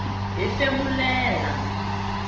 hefemulela